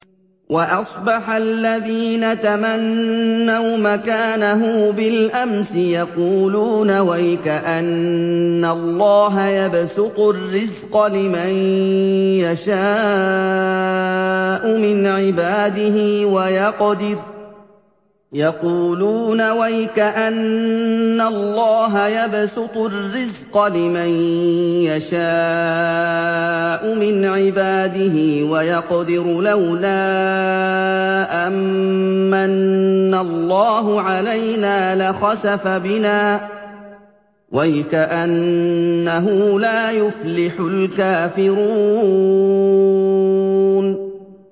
وَأَصْبَحَ الَّذِينَ تَمَنَّوْا مَكَانَهُ بِالْأَمْسِ يَقُولُونَ وَيْكَأَنَّ اللَّهَ يَبْسُطُ الرِّزْقَ لِمَن يَشَاءُ مِنْ عِبَادِهِ وَيَقْدِرُ ۖ لَوْلَا أَن مَّنَّ اللَّهُ عَلَيْنَا لَخَسَفَ بِنَا ۖ وَيْكَأَنَّهُ لَا يُفْلِحُ الْكَافِرُونَ